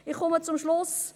Ich komme zum Schluss.